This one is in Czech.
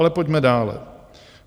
Ale pojďme dále.